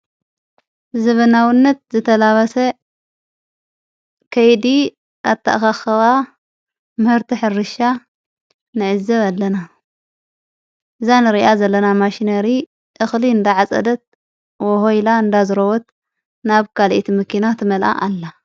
ዘበናውነት ዘተላባሰ ከይዲ ኣታእኻኽዋ ምህርቲ ሕርሻ ንእዘ ኣለና እዛን ርኣ ዘለና ማሽነሪ እኽሊ እንዳዓጸደት ወሆይላ እንዳዘረወት ናብ ካልኤት ምኪና ትመልኣ ኣላ።